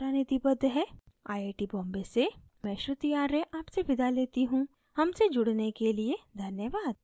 I I T Bombay से मैं श्रुति आर्य आपसे विदा लेती हूँ हमसे जुड़ने के लिए धन्यवाद